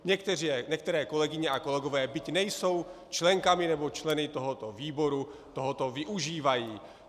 Některé kolegyně a kolegové, byť nejsou členkami nebo členy tohoto výboru, tohoto využívají.